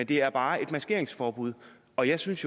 det er bare et maskeringsforbud og jeg synes